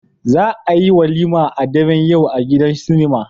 Za a yi walima a daren yau a gidan sinima